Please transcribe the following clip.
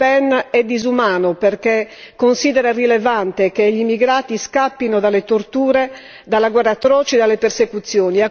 Le Pen è disumano perché considera irrilevante che gli immigrati scappino dalle torture, dalla guerra atroce, dalle persecuzioni.